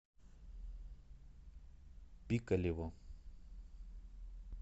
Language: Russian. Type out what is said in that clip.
пикалево